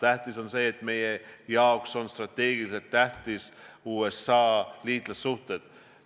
Tähtis on see, et meie jaoks on liitlassuhted USA-ga strateegiliselt tähtsad.